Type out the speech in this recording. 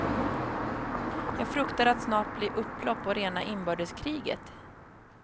Jag fruktar att snart blir upplopp och rena inbördeskriget.